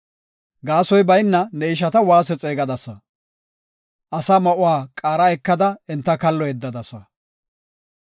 Gaasoy bayna ne ishata waase xeegisadasa; asaa ma7uwa qaara ekada enta kallo yeddadasa.